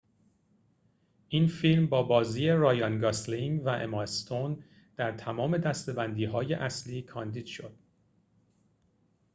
این فیلم با بازی رایان گاسلینگ و اما استون در تمام دسته‌بندی‌های اصلی کاندید شد